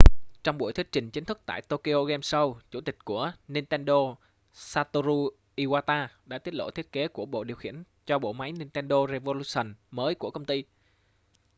trong buổi thuyết trình chính thức tại tokyo game show chủ tịch của nintendo satoru iwata đã tiết lộ thiết kế của bộ điều khiển cho bộ máy nintendo revolution mới của công ty